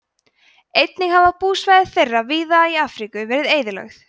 einnig hafa búsvæði þeirra víða í afríku verið eyðilögð